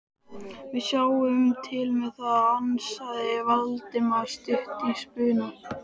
Við sjáum til með það- ansaði Valdimar stuttur í spuna.